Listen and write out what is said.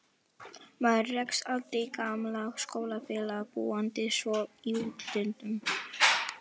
Maður rekst aldrei á gamla skólafélaga, búandi svona í útlöndum.